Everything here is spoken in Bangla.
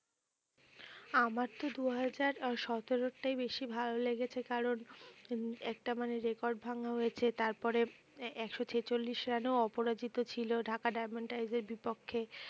আমরা তো দুহাজার আহ সতেরোর টাই বেশি ভালো লেগেছে কারণ একটা মানে record ভাঙা হয়েছে তারপরে একশো ছেচল্লিশ রানে অপরাজিত ছিল ঢাকা ডায়মন্ড টাইজের বিপক্ষে